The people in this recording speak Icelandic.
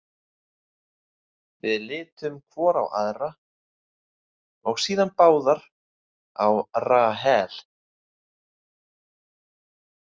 Við litum hvor á aðra og síðan báðar á Rahel.